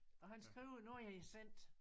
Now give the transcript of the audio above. Og han skrev nu er det sendt